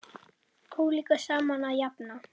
Ólíku saman að jafna.